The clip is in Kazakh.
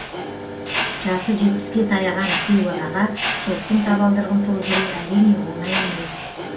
жасы жетпіске таяған кейуанаға соттың табалдырығын тоздыру әрине оңай емес